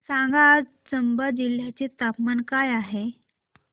सांगा आज चंबा जिल्ह्याचे तापमान काय आहे